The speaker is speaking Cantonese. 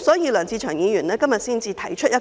所以，梁志祥議員今天提出"